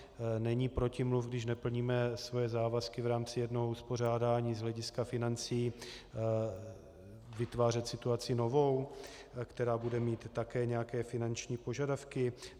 Není protimluv, když neplníme svoje závazky v rámci jednoho uspořádání z hlediska financí, vytvářet situaci novou, která bude mít také nějaké finanční požadavky?